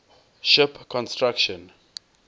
ship construction